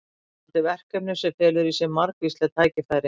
Spennandi verkefni sem felur í sér margvísleg tækifæri.